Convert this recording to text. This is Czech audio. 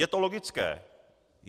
Je to logické.